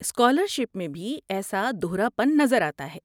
Scholarship میں بھی ایسا دہراپن نظر آتا ہے۔